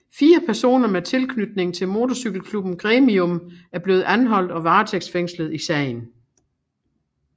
Fire personer med tilknytning til motorcykelklubben Gremium er blevet anholdt og varetægtsfængslet i sagen